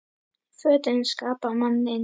Fötin skapa manninn